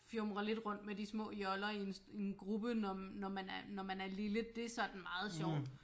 Fjumre lidt rundt med de små joller i en i en gruppe når man når man er lille det er sådan meget sjovt